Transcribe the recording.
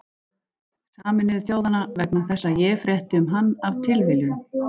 Sameinuðu þjóðanna, vegna þess að ég frétti um hann af tilviljun.